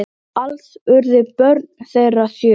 Alls urðu börn þeirra sjö.